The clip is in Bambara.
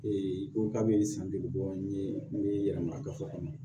i ko k'a bɛ san dege bɔ n ye n bɛ yɛlɛma ka fɔ kɔnɔ